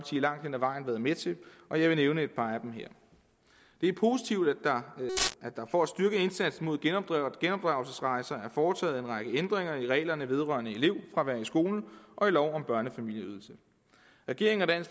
langt hen ad vejen været med til og jeg vil nævne et par af dem her det er positivt at der for at styrke indsatsen mod genopdragelsesrejser er foretaget en række ændringer i reglerne vedrørende elevfravær i skolen og i lov om børnefamilieydelse regeringen